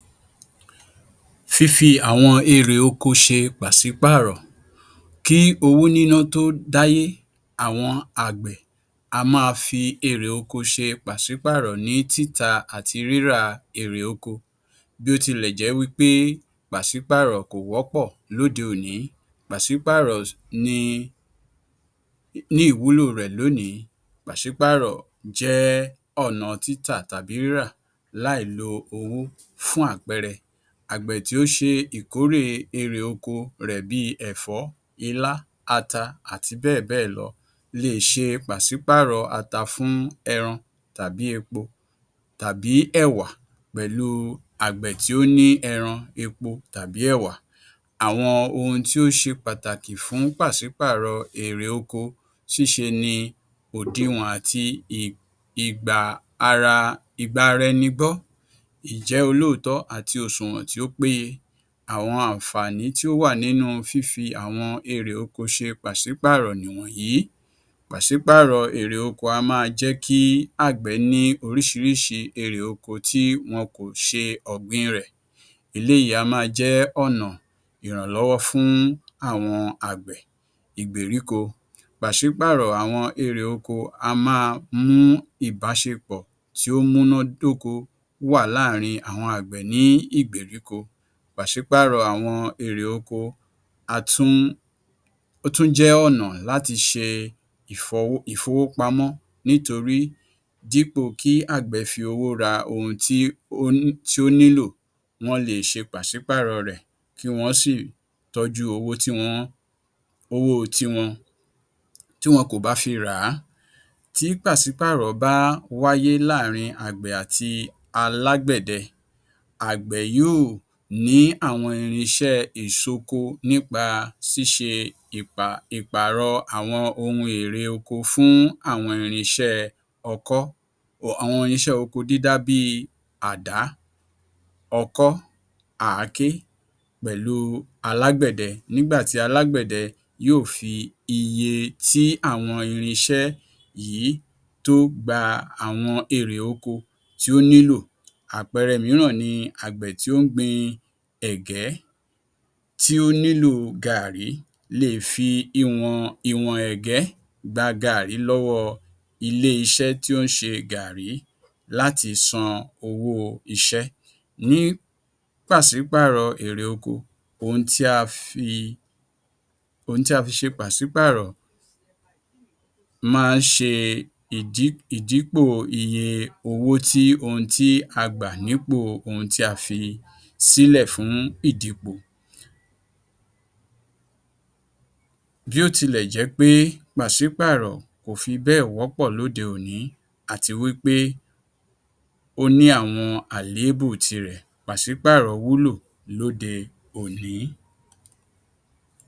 Fífi àwọn erè oko ṣe pàṣípàrọ̀ Kí owó níná tó dáyé àwọn àgbẹ̀ á máa fi erè oko ṣe pàṣípàrọ̀ ní títà àti rírà èrè oko. Bí ó tilẹ̀ jẹ́ pé pàṣípàrọ̀ kò wọ́pọ̀ lóde òní, pàṣípàrọ̀ ni ní ìwúlò rẹ̀ lónìí. Pàṣípàrọ̀ jẹ́ ọ̀nà títà tàbí rírà láì lo owó. Fún àpẹẹrẹ, àgbẹ̀ tí ó ṣe ìkórè erè oko rẹ̀ bíi ẹ̀fọ́, ilá, ata àti bẹ́ẹ̀ bẹ́ẹ̀ lọ leè ṣe pàṣípàrọ̀ ata fún ẹran tàbí epo tàbí ẹ̀wà pẹ̀lú àgbẹ̀ tí ó ní ẹran, epo tàbí ẹ̀wà. Àwọn ohun tí ó ṣe pàtàkì fún pàṣípàrọ̀ èrè oko ṣíṣe ní òdiwọ̀n àti i ìgba ara ìgbara-ẹni-gbọ́ olóòótọ̀ àti òṣùwọ̀n tí ó péye. Àwọn àǹfààní tí ó wà nínú fífi àwọn erè oko ṣe pàṣípàrọ̀ nìwọ̀nyí. Pàṣípàrọ̀ erè oko á máa jẹ́ kí àgbẹ̀ ní oríṣiríṣi erè oko tí wọn kò ṣe ọ̀gbìn rẹ̀. Eléyìí á máa jẹ́ ọ̀nà ìrànlọ́wọ́ fún àwọn àgbẹ̀ Ìgbèríko. Pàṣípàrọ̀ àwọn èrè oko á máa mú ìbáṣepọ̀ tí ó múná dóko wà láàárín àwọn àgbẹ̀ ní Ìgbèríko. Pàṣípàrọ̀ àwọn erè oko á tún ó tún jẹ́ ọ̀nà láti ṣe ìfọwọ́ ìfówópamọ́ nítorí dípò kí àgbẹ̀ fi owó ra ohun tí ó ń tí ó nílò wọ́n lè ṣe pàṣípàrọ̀ rẹ̀ kí wọ́n sì tọ́jú owó tí wọ́n owó o tiwọn tí wọn kò bá fi rà á. Tí pàṣípàrọ̀ bá wáyé láàrin àgbẹ̀ àti alágbẹ̀dẹ, àgbẹ̀ yóò ní àwọn irinṣẹ́ ìṣoko nípa ṣíṣe ìpa ìpàrọ àwọn ohun èrè oko fún àwọn irinṣẹ́ ọkọ́ àwọn irinṣẹ́ oko dídá bíi àdá, ọkọ́, àáké, pẹ̀lu alágbẹ̀dẹ. Nígbà tí alágbẹ̀dẹ yóò fi iye tí àwọn irinṣẹ́ yìí tó gba àwọn èrè oko tí ó nílò. Àpẹẹrẹ mìíràn ni àgbẹ̀ tí ó ń gbin ẹ̀gẹ́ tí ó nílò gààrí, léè fi iwọ̀n ìwọ̀n ẹ̀gẹ́ gba gààrí lọ́wọ́ ilé-iṣẹ́ tí ó ń ṣe gààrí láti san owó iṣẹ́. Ní pàṣípàrọ̀ èrè oko, ohun tí a fi ohun tí a fi ṣe pàṣípàrọ̀ máa ṣe ìdí ìdípò iye owo tí ohun tí a gbà nípò ohun tí a fi sílẹ̀ fún ìdípò. Bí ó tilẹ̀ jẹ́ pe ́pàṣípàrọ̀ kò fibẹ́ẹ̀ wọ́pọ̀ lóde òní àti wípé ó ní àwọn àléébù tirẹ̀, pàṣípàrọ̀ wúlò lóde òní.